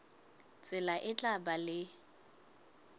tsela e tla ba le